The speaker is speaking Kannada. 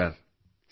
ನಮಸ್ತೆ ಸರ್